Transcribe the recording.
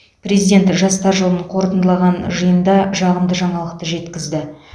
президент жастар жылын қорытындылаған жиында жағымды жаңалықты жеткізді